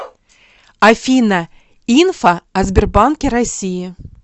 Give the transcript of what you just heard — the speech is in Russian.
афина инфа о сбербанке россии